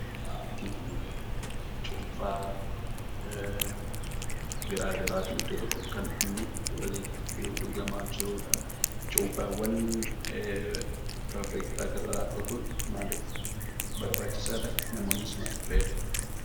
Waanti arginu cuunfaa garaa garaati. Iddoo tokkotti kan nam'ee walitti dhugamaa jirudha. Cuunfaawwan firaafiree garaa garaa dhuguun maaliif barbaachisaadha? Namoonnis maaliif fayyadamu?